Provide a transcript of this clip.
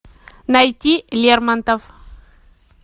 найти лермонтов